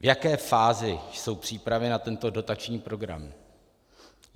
V jaké fázi jsou přípravy na tento dotační program?